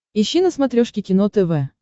ищи на смотрешке кино тв